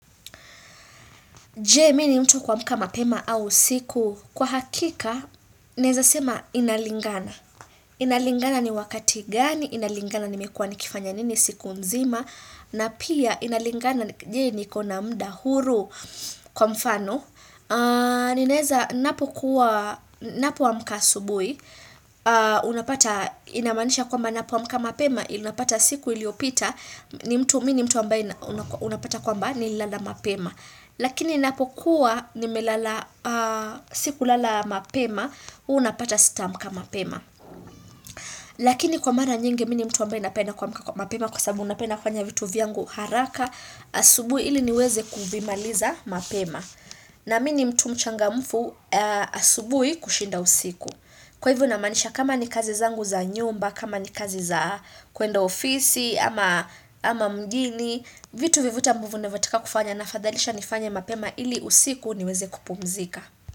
Je mi ni mtu wa kuamka mapema au usiku. Kwa hakika, naeza sema inalingana. Inalingana ni wakati gani, inalingana nimekuwa nikifanya nini siku nzima, na pia inalingana jee? Niko na mda huru kwa mfano. Ninaeza napomka asubui Unapata inamanisha kwamba napoamka mapema Unapata siku iliopita Mi ni mtu ambaye unapata kwamba nililala mapema Lakini napo kuwa nimelala siku lala mapema Unapata sitaamka mapema Lakini kwa mara nyingi mi ni mtu ambaye napenda kuamka kwa mapema Kwa sababu napenda kufanya vitu vyangu haraka asubui ili niweze kuvimaliza mapema na mi ni mtu mchangamfu asubui kushinda usiku. Kwa hivyo namaanisha kama ni kazi zangu za nyumba, kama ni kazi za kuenda ofisi, ama mjini, vitu vyovyote ambuvu navotaka kufanya nafadhalisha nifanye mapema ili usiku niweze kupumzika.